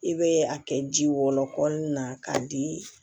I bɛ a kɛ ji wɔlɔ na k'a di